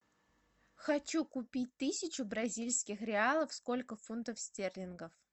хочу купить тысячу бразильских реалов сколько фунтов стерлингов